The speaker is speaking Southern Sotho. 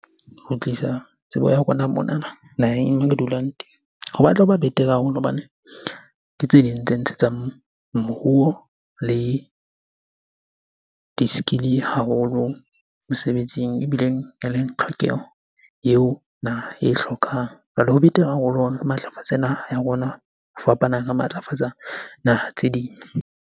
Ho tlisa tsebo ya rona monana naheng e re dulang teng ho batla ho ba betere haholo hobane ke tse ding tse ntshetsang moruo le di-skill-e haholo mosebetsing, ebileng eleng tlhokeho eo naha e hlokang. Jwale ho betere haholo matlafatse naha ya rona ho fapana re matlafatsa naha tse ding.